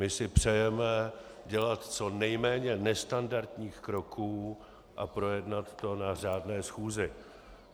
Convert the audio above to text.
My si přejeme dělat co nejméně nestandardních kroků a projednat to na řádné schůzi.